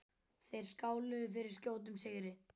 Þeir skáluðu fyrir skjótum sigri.